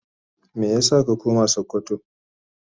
Meya sa ka koma sokoto.?